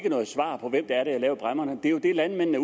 noget svar på hvem der har indført bræmmerne det er jo det landmændene